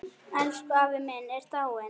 Elsku afi minn er dáinn.